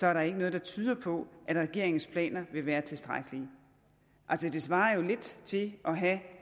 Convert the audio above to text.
er der ikke noget der tyder på at regeringens planer vil være tilstrækkelige det svarer jo lidt til at have